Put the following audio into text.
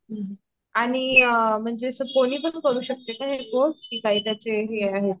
हम्म आणि अ म्हणजे अस कोणी पण करू शकते का हे कोर्स कि काय त्याचे हे आहे